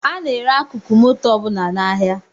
A na-ere akụkụ moto ọbụla n’ahịa